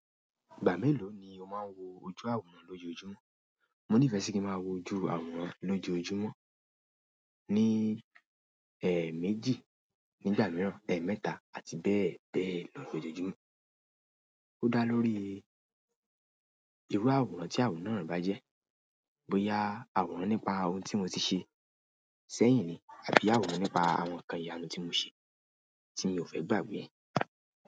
Ìgbà mélòó ni o máa ń wo ojú àwòrán lójoojúmọ́? Mo nífẹ̀ẹ́ sí kí n máa wo ojú àwòrán lójoojúmọ́, ní ẹẹ́méjì nígbà mìíràn ẹẹ́mẹ́ta àti bẹ́ẹ̀ lójoojúmọ́. Ó dá lórí irú àwòrán tí àwòrán náà bá jẹ́, bóyá àwòrán nípa ohun tí mo ti ṣe sẹ́yìn ni àbí àwòrán nípa àwọn nǹkan ìyanu tí mo ṣe tí mi ò fẹ́ gbàgbé ẹ̀.